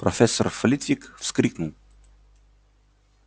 профессор флитвик вскрикнул